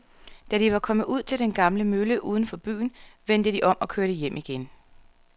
Da de var kommet ud til den gamle mølle uden for byen, vendte de om og kørte hjem igen.